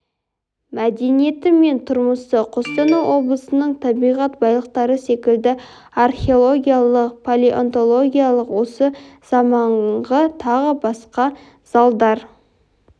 мәдениеті мен тұрмысы қостанай облысының табиғат байлықтары секілді археологиялық палеонтологиялық осы заманғы тағы басқа залдар